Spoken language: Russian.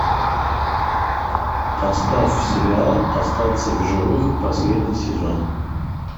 поставь сериал остаться в живых последний сезон